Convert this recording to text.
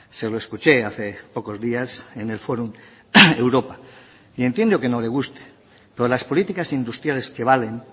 se lo escuche hace pocos días en el forum europa y entiendo que no le guste pero las políticas industriales que valen